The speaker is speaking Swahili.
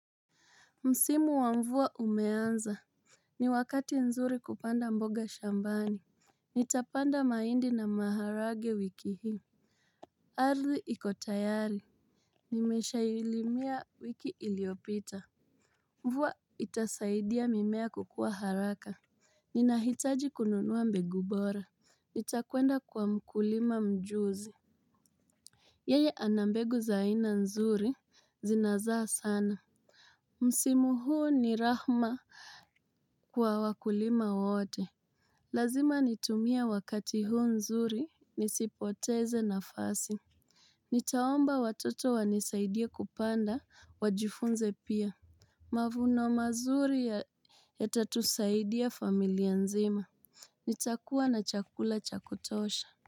Msimu wa mvua umeanza. Ni wakati nzuri kupanda mboga shambani. Nitapanda mahindi na maharagwe wiki hii. Ardhi iko tayari. Nimeshailimia wiki iliopita. Mvua itasaidia mimea kukua haraka. Ninahitaji kununua mbegu bora. Nitakwenda kwa mkulima mjuzi. Yeye ana mbegu za aina nzuri, zinazaa sana. Msimu huu ni rahma kwa wakulima wote. Lazima nitumie wakati huu nzuri nisipoteze nafasi. Nitaomba watoto wanisaidie kupanda, wajifunze pia. Mavuno mazuri yatatusaidia familia nzima. Nitakua na chakula cha kutosha.